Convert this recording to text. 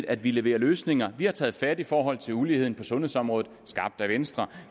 at vi leverer løsninger vi har taget fat i forhold til uligheden på sundhedsområdet skabt af venstre